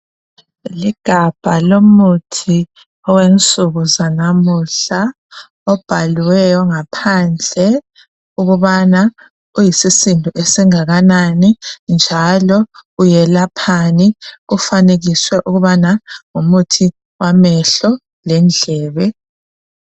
Ligabha lomuthi owensuku zanamuhla obhaliweyo ngaphandle ukubana uyisisindo esingakanani njalo uyelaphani kufanekiswe ukubana ngumuthi wamehlo lendlebe.